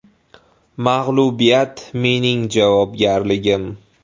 Mag‘lubiyat mening javobgarligim.